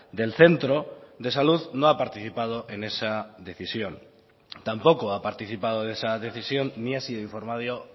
del centro de salud no ha participado en esa decisión tampoco ha participado de esa decisión ni ha sido informado